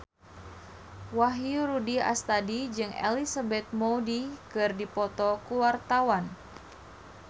Wahyu Rudi Astadi jeung Elizabeth Moody keur dipoto ku wartawan